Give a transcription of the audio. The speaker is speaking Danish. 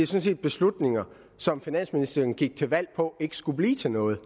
set beslutninger som finansministeren gik til valg på ikke skulle blive til noget